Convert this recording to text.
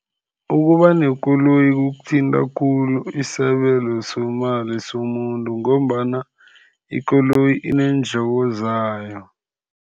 Ukuba nekoloyi kuthinta khulu isabelo semali somuntu, ngombana ikoloyi ineendleko zayo.